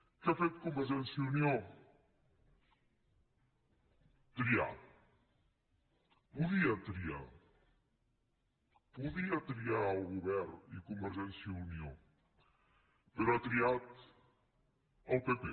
què ha fet convergència i unió triar podia triar podia triar el govern i convergència i unió però ha triat el pp